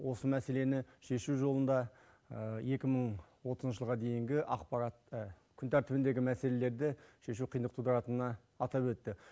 осы мәселені шешу жолында екі мың отызыншы жылға дейінгі ақпарат күн тәртібіндегі мәселелерді шешу қиындық тудыратынына атап өтті